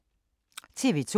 TV 2